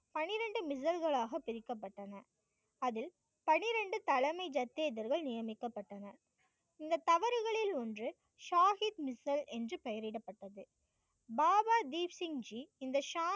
பன்னிரெண்டு மிதல்கள் ஆக பிரிக்கப்பட்டன. அதில் பன்னிரெண்டு தலைமை ஜத்தினர்கள் நியமிக்கப்பட்டனர். இந்த தவறுகளில் ஒன்று சாஹிப் மிஷல் என்று பெயரிடப்பட்டது. பாபா தீப்சிங் ஜி இந்த